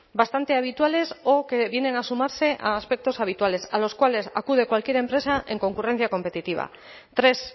bastante habituales o que vienen a sumarse a aspectos habituales a los cuales acude cualquier empresa en concurrencia competitiva tres